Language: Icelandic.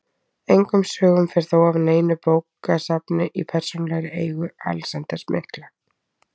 Engum sögum fer þó af neinu bókasafni í persónulegri eigu Alexanders mikla.